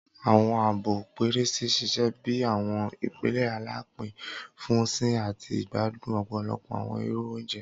Awọn abọ pẹrẹsẹ ṣiṣẹ bi awọn ipele alapin fun sìn ati igbadun ọpọlọpọ awọn iru ounjẹ.